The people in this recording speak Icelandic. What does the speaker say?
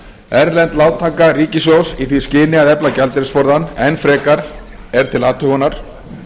erlend lántaka ríkissjóðs í því skyni að efla gjaldeyrisforðann enn frekar er til athugunar